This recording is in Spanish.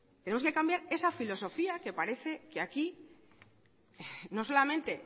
tenemos que cambiar esa filosofía que parece que aquí no solamente